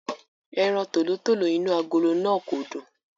Ẹran tòlótòló inú agolo náà kò dùn.